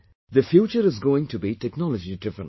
The future is going to be technology driven